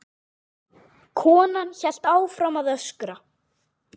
Konan hélt áfram að öskra.